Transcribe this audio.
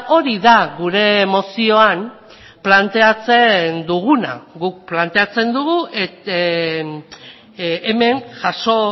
hori da gure mozioan planteatzen duguna guk planteatzen dugu hemen jaso